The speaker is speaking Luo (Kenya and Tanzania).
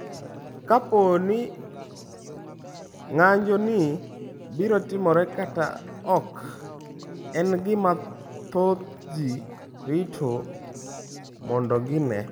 Kapo ni ng’anjoni biro timore kata ok, en gima thoth ji rito mondo gine.